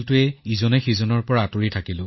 নহয় আপুনি নিজৰ ধৰণে আগ্ৰাতেই কৰক